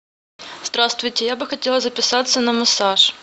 здравствуйте я бы хотела записаться на массаж